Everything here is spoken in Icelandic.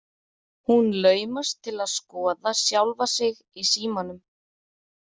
Hún laumast til að skoða sjálfa sig í símanum.